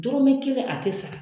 Dɔrɔmɛ kelen a ti sara.